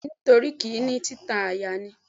Bẹ́ẹ̀ni, nítorí kì í ní títa àyà ni.